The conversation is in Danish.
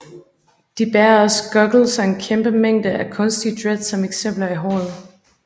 De bærer også Goggels og en kæmpe mængde af kunstige dreads som eksempel i håret